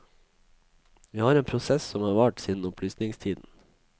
Vi har en prosess som har vart siden opplysningstiden.